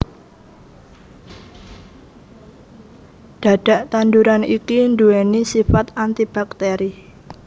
Dhadhak tanduran iki duwéni sifat antibakteri